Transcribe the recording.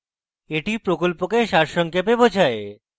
এটি প্রকল্পকে সারসংক্ষেপে বোঝায়